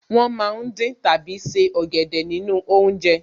Wọ́n ma ń dín tàbí se ọ̀gẹ̀dẹ̀ nínú oúnjẹ